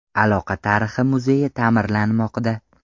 Aloqa tarixi muzeyi ta’mirlanmoqda.